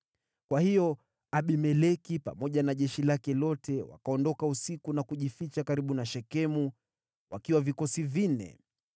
Kwa hiyo Abimeleki pamoja na jeshi lake lote wakaondoka usiku na kujificha karibu na Shekemu wakiwa vikosi vinne.